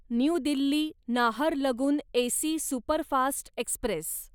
new Delhi Naharlagun AC superfast Express